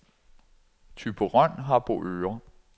Thyborøn-Harboøre